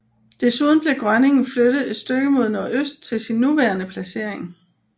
Desuden blev Grønningen flyttet et stykke mod nordøst til sin nuværende placering